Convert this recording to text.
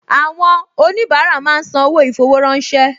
Àwọn oníbàárà máa ń san owó ì-fowó-ránṣẹ́